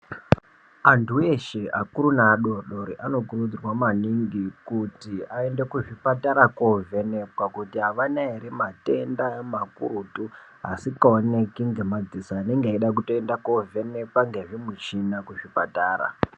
Antu eshe akuru neadodori anokurudzirwa maningi kuti aende kuzvipatara kovhenekwa kuti havana here matenda makurutu asingaoneki ngemadziso anenge eida kutoenda kovhenekwa ngezvimuchina kuzvipatara .